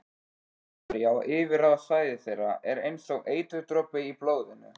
Þjóðverji á yfirráðasvæði þeirra er einsog eiturdropi í blóðinu.